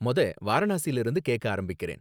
மொத வாரணாசில இருந்து கேக்க ஆரம்பிக்கறேன்